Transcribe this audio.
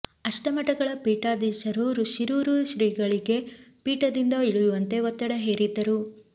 ಅಷ್ಟ ಮಠಗಳ ಪೀಠಾಧೀಶರು ಶಿರೂರು ಶ್ರೀಗಳಿಗೆ ಪೀಠದಿಂದ ಇಳಿಯುವಂತೆ ಒತ್ತಡ ಹೇರಿದ್ದರು